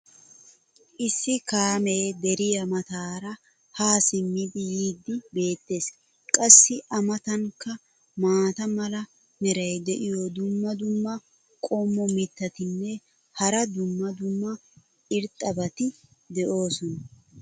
issi kaamee deriya mataara haa simmidi yiidi beetees. qassi a matankka maata mala meray diyo dumma dumma qommo mitattinne hara dumma dumma irxxabati de'oosona.